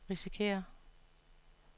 risikerer